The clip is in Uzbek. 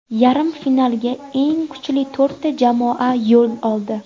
Yarim finalga eng kuchli to‘rtta jamoa yo‘l oldi.